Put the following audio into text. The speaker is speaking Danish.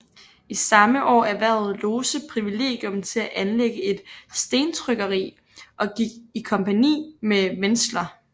I samme år erhvervede Lose privilegium til at anlægge et stentrykkeri og gik i kompagni med Wentzler